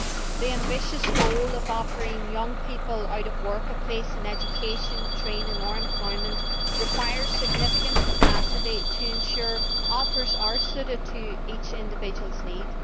The ambitious goal of offering young people who are out of work a place in education, training or employment requires significant capacity to ensure that offers are suited to each individual's needs.